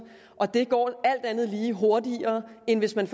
og det går alt andet lige hurtigere end hvis man